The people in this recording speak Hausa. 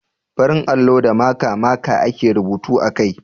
Farin allo da maka (marker) ake rubutu a kai.